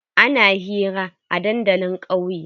Ana hira a dandalin ƙauye.